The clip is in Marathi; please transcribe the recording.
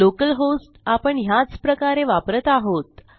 लोकल होस्ट आपण ह्याच प्रकारे वापरत आहोत